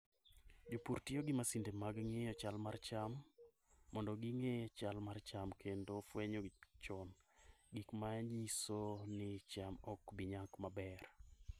Jopur tiyo gi masinde mag ng'iyo chal mar cham mondo ging'e chal mar cham kendo fwenyo chon gik ma nyiso ni cham ok bi nyak maber.